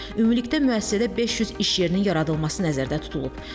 Ümumilikdə müəssisədə 500 iş yerinin yaradılması nəzərdə tutulub.